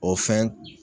O fɛn